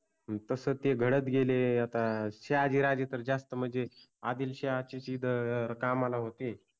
तस ते घडत गेले आता. शहाजि राजे तर जास्त मनजे आदिलशाहाच्याच इथ कामाला होते.